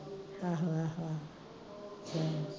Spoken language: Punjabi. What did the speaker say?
ਆਹੋ ਆਹੋ